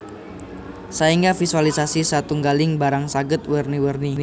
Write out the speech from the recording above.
Saéngga visualisasi satunggaling barang saged werni werni